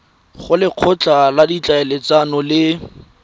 go lekgotla la ditlhaeletsano le